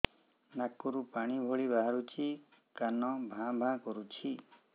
କାନ ରୁ ପାଣି ଭଳି ବାହାରୁଛି କାନ ଭାଁ ଭାଁ କରୁଛି